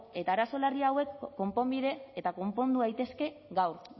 eta arazo larri hauek konponbide eta konpondu daitezke gaur